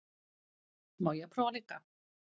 Má ég prófa líka!